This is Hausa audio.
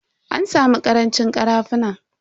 An samu karancin karafunan.